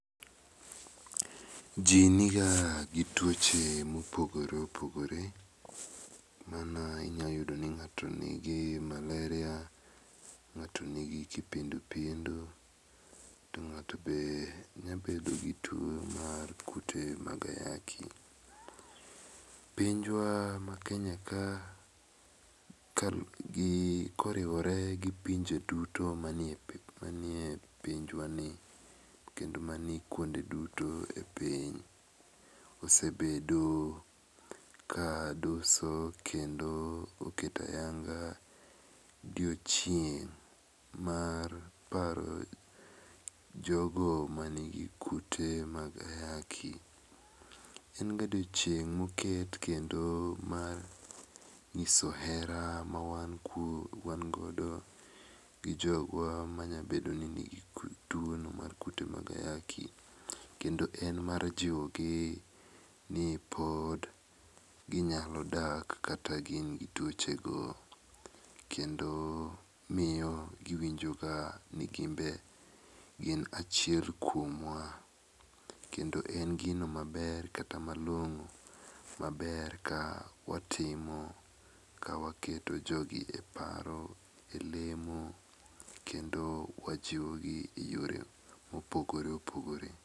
Jii niga gi tuoche mopogore opogore. Mana inyaloyudoni ng'ato nigi maleria, ng'ato nigi kipindupindu to ng'ato be nyabedo gi tuo mar kute mag ayaki. Pinjwa mar Kenya ka koriwore gi pinje duto manie pinjwani kendo mani kuondeduto e piny osebedo ka doso kendo oketo ayanga diochieng' mar paro jogo manigi kute mag ayaki. Enga odiochieng' moket kendo mar nyiso hera ma wangodo gi jogwa manyabedoni nigi tuono mar kute mag ayaki kendo en mar jiwogi ni pod ginyalodak kata gin gi tuochego. Kendo miyo giwinjo ka ni gimbe gin achiel kuomwa. Kendo en gino maber kata malong'o maber ka watimo ka waketo jogi e paro,e lemo kendo wajiwogi e yore mopogore opogore.